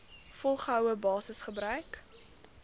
volgehoue basis gebruik